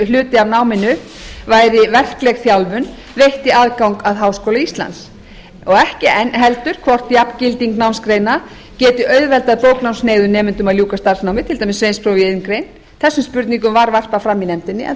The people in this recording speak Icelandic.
hluti af náminu væri verkleg þjálfun veitti aðgang að háskóla íslands og ekki heldur hvort jafngilding námsgreina geti auðveldað bóknámshneigðum nemendum að ljúka starfsnámi til dæmis eins og í iðngrein þessum spurningum var varpað fram í nefndinni en